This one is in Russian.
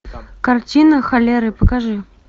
картина холеры покажи